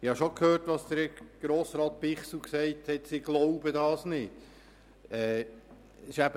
Bichsel hat gesagt, sie würden das nicht glauben.